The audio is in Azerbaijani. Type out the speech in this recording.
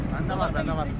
Məndə var, məndə var.